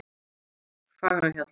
Fagrahjalla